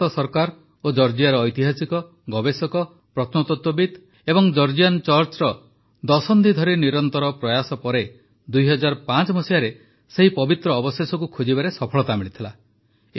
ଭାରତ ସରକାର ଓ ଜର୍ଜିଆର ଐତିହାସିକ ଗବେଷକ ପ୍ରତ୍ନତତ୍ୱବିତ୍ ଓ ଜର୍ଜିଆନ୍ ଚର୍ଚ୍ଚର ଦଶନ୍ଧି ଧରି ନିରନ୍ତର ପ୍ରୟାସ ପରେ ୨୦୦୫ରେ ସେହି ପବିତ୍ର ଅବଶେଷକୁ ଖୋଜିବାରେ ସଫଳତା ମିଳିଥିଲା